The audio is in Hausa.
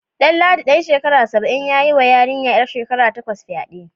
Danladi dan shekara saba'in ya yiwa yarinyar 'yar shekara takwas fyade.